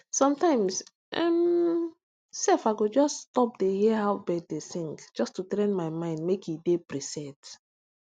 sometimes um sef i go just stop dey hear how bird dey sing just to train my mind make e dey preset